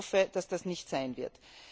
Ich hoffe, dass dies nicht so sein wird.